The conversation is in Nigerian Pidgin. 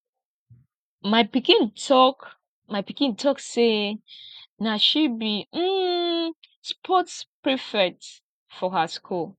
my pikin talk my pikin talk sey na she be um sports prefect for her skool